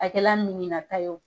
A kɛla ye.